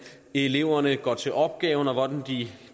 eleverne går til opgaven og hvordan